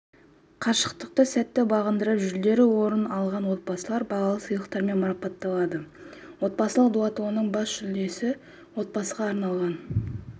қашықтықты сәтті бағындырып жүлделі орын алған отабсылар бағалы сыйлықтармен марапатталады отбасылық дуатлонның бас жүлдесі отбасыға арналған